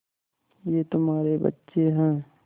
ये तुम्हारे बच्चे हैं